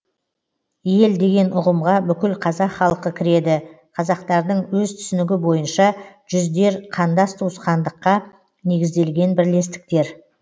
ел деген ұғымға бүкіл қазақ халқы кіреді қазақтардың өз түсінігі бойынша жүздер қандас туысқандыққа негізделген бірлестіктер